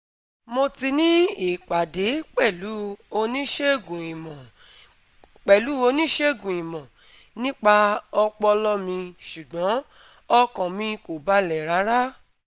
Mo ti ní ìpàdé pẹ̀lú oníṣègùn ìmọ̀ pẹ̀lú oníṣègùn ìmọ̀ nípa ọpọlọ mi ṣùgbọ́n ọkàn mi kò balẹ̀ rárá